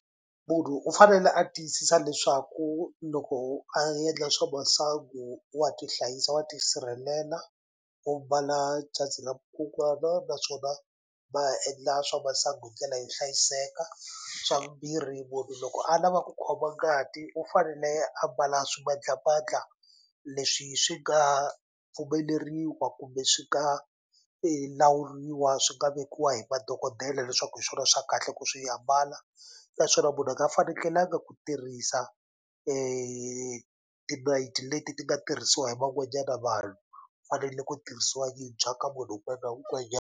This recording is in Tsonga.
Munhu u fanele a tiyisisa leswaku loko a yendla swa masangu wa tihlayisa wa tisirhelela u mbala na naswona va endla swa masangu hi ndlela yo hlayiseka swa vumbirhi munhu loko a lava ku khoma ngati u fanele a mbala swimandlamandla leswi swi nga pfumeleriwa kumbe swi nga lawuriwa swi nga vekiwa hi madokodela leswaku hi swona swa kahle ku swi ambala naswona munhu a nga fanekelanga ku tirhisa tinayiti leti ti nga tirhisiwa hi van'wanyana vanhu fanele ku tirhisiwa yitshwa ka munhu wun'wana .